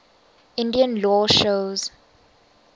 indian law shows